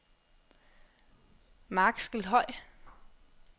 Markskelhøj